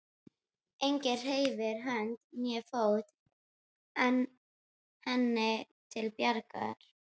Enginn hreyft hönd né fót henni til bjargar.